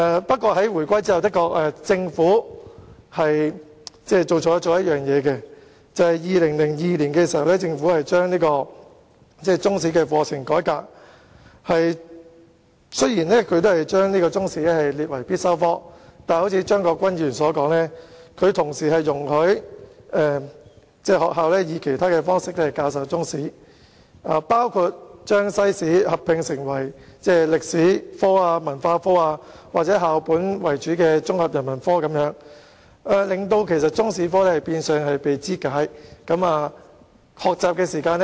不過，在回歸後，政府的確做錯了一件事，就是在2002年將中史課程改革，雖然將中史列為必修科，但卻如張國鈞議員所說，同時容許學校以其他方式教授中史，包括將中史與西史合併為歷史科、文化科或以校本為主的綜合人文科，令中史科變相被肢解，學習時間不足。